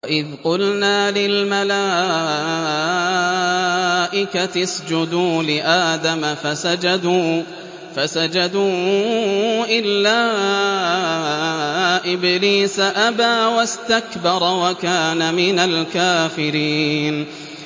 وَإِذْ قُلْنَا لِلْمَلَائِكَةِ اسْجُدُوا لِآدَمَ فَسَجَدُوا إِلَّا إِبْلِيسَ أَبَىٰ وَاسْتَكْبَرَ وَكَانَ مِنَ الْكَافِرِينَ